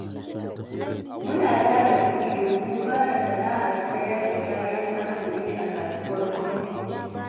Muna tara kudi, domi fara sana'ar sayar da kayan arkomi a kasuwar kurmi.